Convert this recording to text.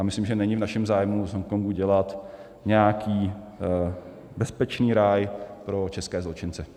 A myslím, že není v našem zájmu z Hongkongu dělat nějaký bezpečný ráj pro české zločince.